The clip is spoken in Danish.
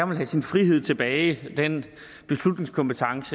vil have sin frihed tilbage den beslutningskompetence